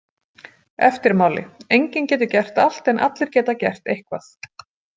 Eftirmáli Enginn getur gert allt en allir geta gert eitthvað